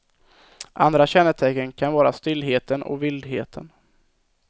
Andra kännetecken kan vara stillheten och vildheten.